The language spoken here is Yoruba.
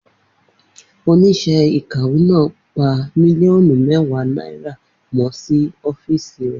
Oníṣẹ́ ìkàwé náà pa mílíọ̀nù mẹ́wàá náírà mọ́ ní ọ́fíìsì rẹ̀.